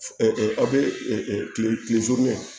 aw bɛ kile kile